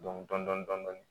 Dɔn dɔni dɔni dɔni